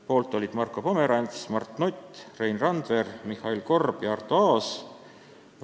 Poolt olid Marko Pomerants, Mart Nutt, Rein Randver, Mihhail Korb ja Arto Aas.